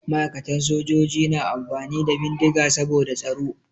Ma'aikatan sojoji na amfani da bindiga saboda tsaro.